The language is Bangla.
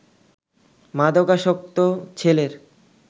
মাদকাসক্ত ছেলের